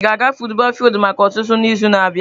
Ị ga-aga futubọọl fildu maka ọzụzụ n'izu na-abịa?